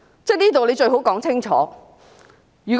這方面最好說清楚。